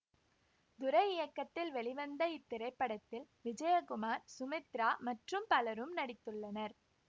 துரை இயக்கத்தில் வெளிவந்த இத்திரைப்படத்தில் விஜயகுமார் சுமித்ரா மற்றும் பலரும் நடித்துள்ளனர்